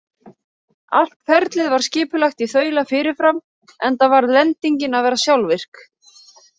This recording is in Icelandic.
Allt ferlið var skipulagt í þaula fyrirfram, enda varð lendingin að vera sjálfvirk.